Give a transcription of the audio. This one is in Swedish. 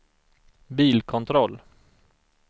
bilkontroll